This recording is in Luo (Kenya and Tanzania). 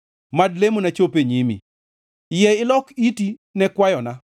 Mad lamona chop e nyimi; yie ilok iti ne kwayona.